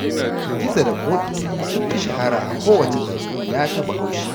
Gizo da ƙoƙi sun fi shahara a kowacce tatsuniya ta Bahaushe